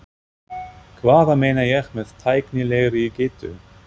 Hvað meina ég með tæknilegri getu?